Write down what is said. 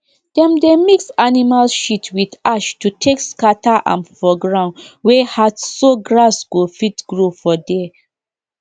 dem dey mix animal shit with ash to take scatter am for ground wey hardso grass go fit grow for there